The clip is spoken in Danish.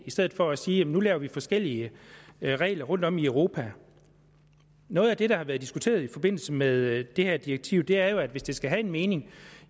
stedet for at sige at nu laver vi forskellige regler rundt om i europa noget af det der har været diskuteret i forbindelse med det her direktiv er jo at hvis det skal have en virkning